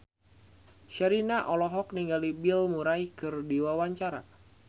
Sherina olohok ningali Bill Murray keur diwawancara